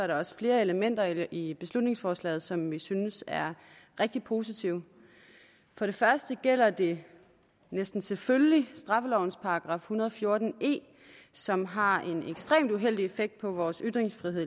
der også flere elementer i beslutningsforslaget som vi synes er rigtig positive for det første gælder det næsten selvfølgeligt straffelovens § en hundrede og fjorten e som har en ekstremt uheldig effekt på vores ytringsfrihed